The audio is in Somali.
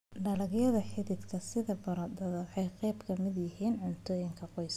Dalagyada xididka sida baradhada waa qayb ka mid ah cuntada qoyska.